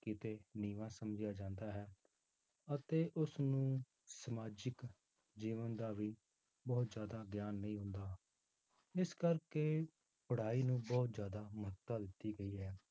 ਕਿਤੇ ਨੀਵਾਂ ਸਮਝਿਆ ਜਾਂਦਾ ਹੈ, ਅਤੇ ਉਸਨੂੰ ਸਮਾਜਿਕ ਜੀਵਨ ਦਾ ਵੀ ਬਹੁਤ ਜ਼ਿਆਦਾ ਗਿਆਨ ਨਹੀਂ ਹੁੰਦਾ, ਇਸ ਕਰਕੇ ਪੜ੍ਹਾਈ ਨੂੰ ਬਹੁਤ ਜ਼ਿਆਦਾ ਮਹੱਤਤਾ ਦਿੱਤੀ ਗਈ ਹੈ